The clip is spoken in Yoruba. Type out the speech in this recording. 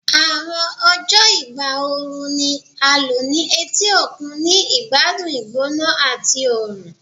Awọn ọjọ igba ooru ni a lo ni eti okun, ni igbadun igbona ati oorun